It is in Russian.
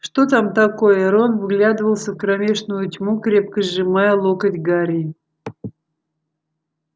что там такое рон вглядывался в кромешную тьму крепко сжимая локоть гарри